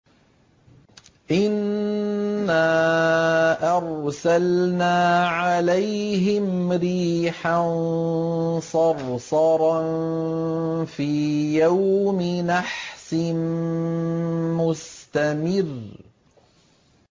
إِنَّا أَرْسَلْنَا عَلَيْهِمْ رِيحًا صَرْصَرًا فِي يَوْمِ نَحْسٍ مُّسْتَمِرٍّ